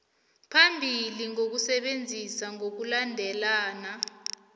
phambili ngokusebenza ngokulandela